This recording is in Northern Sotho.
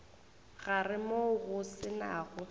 gare moo go se nago